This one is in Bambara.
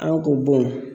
An k'o bɔn